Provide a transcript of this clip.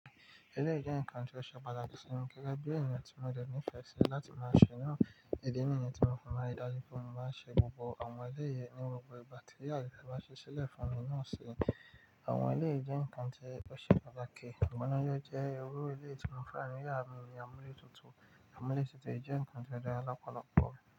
Eléyìí jẹ́ ǹkan tí ó ṣe pàtàkì sí mi gẹ́gẹ́ bí èèyàn tí mo dẹ̀ ní ìfẹ́ sí láti máa ṣe náà. Ìdí nìyẹn tí mo fi máa ń rí ìdájú pé mo máa ṣe gbogbo àwọn eléyìí ní àwọn ọ̀pọ̀ ìgbà tí àyè yẹn bá ṣí sílẹ̀ fún mi náà sí. Àwọn eléyìí jẹ́ nǹkan tí ó ṣe pàtàkì, àmọ́ lọ́jọ́ jẹ́ owó eléyìí tí mo fẹ́ràn ní yàrá mi ni àmúlétutù. Àmúlétutù yìí jẹ́ nǹkan dáadáa lọ́pọ̀lọpọ̀.